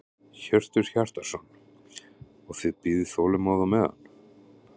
Hjörtur Hjartarson: Og þið bíðið þolinmóð á meðan?